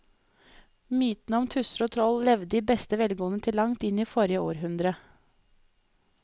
Mytene om tusser og troll levde i beste velgående til langt inn i forrige århundre.